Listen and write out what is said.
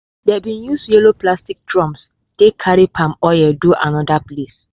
dey bin use yellow plastic drums take carry palm oil do anoda place.